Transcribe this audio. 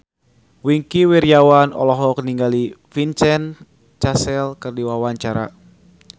Wingky Wiryawan olohok ningali Vincent Cassel keur diwawancara